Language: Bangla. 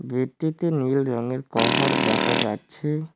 বেডটিতে নীল রঙের কভার দেখা যাচ্ছে।